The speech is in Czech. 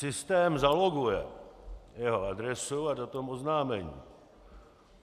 Systém zaloguje jeho adresu a datum oznámení.